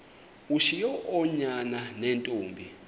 ushiye oonyana neentombi